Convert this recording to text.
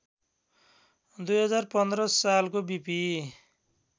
२०१५ सालको बीपी